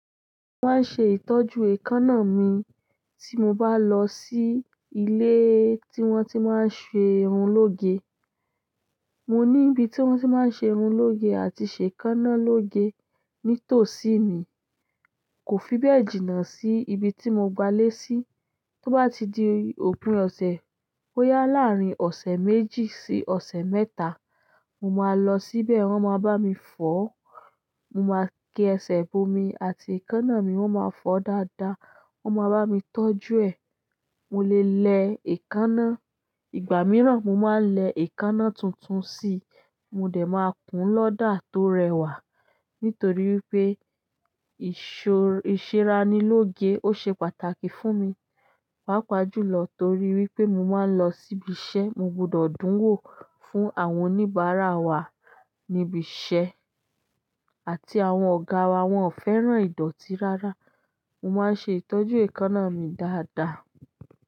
Wọ́n á ṣe ìtọ́jú èékánná mi tí mo bá lọ sí ilé tí wọ́n ti máa ń ṣe irun lóge. Mo ni ibi ti won ti maa n se irun loge àti se ekanna loge nitoosi me. Kò fi bẹ́ẹ̀ jìnnà sí ibi tí mo gbalé sí. To ba ti di òpin ose, boya laarin ose méjì si ose mẹ́ta, mo ma lo síbẹ̀, won ma bami foo. Mo máa kí ẹsẹ̀ bo mi àti èékánná mi. Won ma foo dada. Wọ́n máa bá mi tọ́jú ẹ. Mo lè lẹ èékánná. Ìgbà mìíràn, mo máa ń lẹ èékánná tuntun sí i. Mo dẹ̀ máa kùn lọ́dà tó rẹwà nítorí pé ìṣọ-- ìṣẹ́ra ní lóge ó ṣe pàtàkì fún mi, pàápàá jùlọ torí wípé mo máa ń lọ síbi iṣẹ́. Mo gbọdọ̀ dún wò fún àwọn oníbàárà wa níbi iṣẹ́ àti àwọn ọ̀gá wa. Wọn ò fẹ́ràn ìdọ̀tí rárá. Mo máa ń ṣe ìtọ́jú èékánná mi dáadáa.